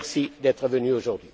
Merci d'être venu aujourd'hui.